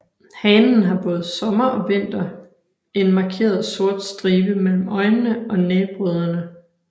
Hanen har både sommer og vinter en markeret sort stribe mellem øjnene og næbrødderne